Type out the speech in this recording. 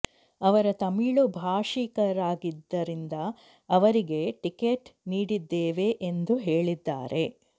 ಅವರ ತಮಿಳು ಭಾಷಿಕರಾಗಿದ್ದರಿಂದ ಅವರಿಗೆ ಟಿಕೆಟ್ ನೀಡಿದ್ದೇವೆ ಎಂದು ಹೇಳಿದ್ದಾರೆ